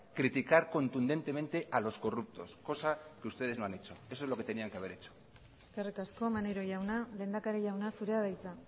criticar contundentemente a los corruptos cosa que ustedes no han hecho eso es lo que tendrían que haber hecho eskerrik asko maneiro jauna lehendakari jauna zurea da hitza